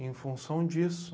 Em função disso.